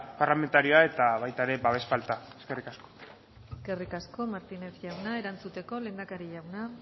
parlamentarioa eta baita ere babes falta eskerrik asko eskerrik asko martínez jauna erantzuteko lehendakari jauna